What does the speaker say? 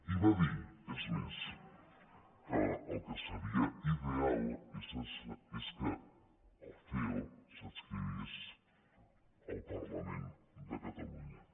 i va dir és més que el que seria ideal és que el ceo s’adscrivís al parlament de catalunya